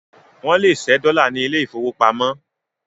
Wọ́n lè ṣẹ́ dọ́là ní ilé ìfowópamọ́